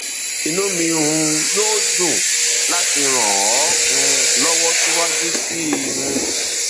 inú mi um yóò dùn láti ràn ọ um lọwọ síwájú sí i um